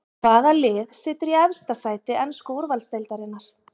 Hvaða lið situr í efsta sæti ensku úrvalsdeildarinnar?